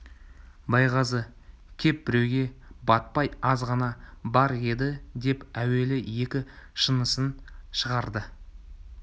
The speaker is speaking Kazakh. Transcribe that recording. байғазы кеп беруге батпай азғана бар еді деп әуелі екі шынысын шығарды